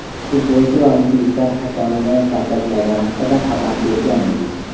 futbolchi va muxlislar hakamni kaltaklagani haqida xabar bergan edik.